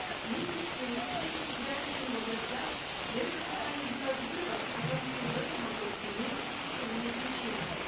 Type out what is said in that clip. вместе с тем встреча с избирателями в областях дает основания сделать вывод о том что в этом вопросе имеются системные причины